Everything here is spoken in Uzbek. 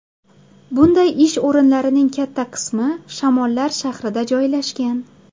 Bunday ish o‘rinlarining katta qismi Shamollar shahrida joylashgan.